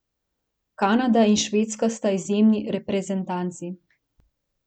Kanada in Švedska sta izjemni reprezentanci.